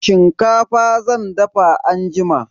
Shinkafa zan dafa anjima.